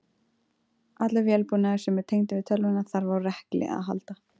Allur vélbúnaður sem er tengdur við tölvuna þarf á rekli að halda.